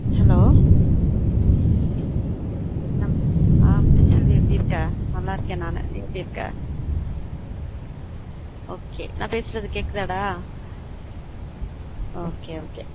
hello ஹம் முத்துசெல்வி எப்புடி இருக்க? நல்ல இருக்கேன் நானு நீ எப்புடி இருக்க? okay நா பேசுறது கேக்குதா டா? okay okay